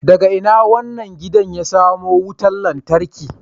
Daga ina wannan gidan ya samo wutar lantarki